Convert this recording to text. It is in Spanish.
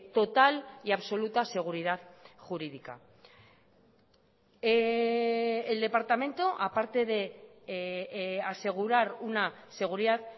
total y absoluta seguridad jurídica el departamento aparte de asegurar una seguridad